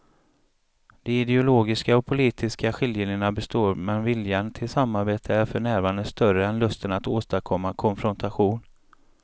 De ideologiska och politiska skiljelinjerna består men viljan till samarbete är för närvarande större än lusten att åstadkomma konfrontation.